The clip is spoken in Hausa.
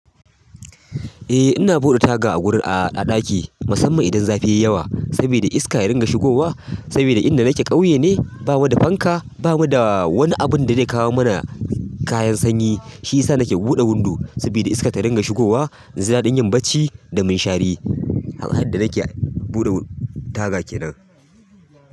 Eh ina buɗe taga a wuri a ɗaki musamman idan zafi yayi yawa saboda iska ya dinga shigowa saboda inda nake ƙauye ne, babu da fanka babu da wani abin da zai kawo mana kayan sanyi. Shi isa nake buɗe windo saboda iska ta dinga shigowa, in ji daɗin yin barci da mashaari. Haka nake buɗe taga kenan.